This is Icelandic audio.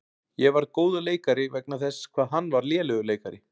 Ég varð góður leikari vegna þess hvað hann var lélegur leikari.